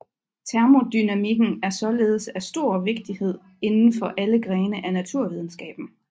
Termodynamikken er således af stor vigtighed inden for alle grene af naturvidenskaben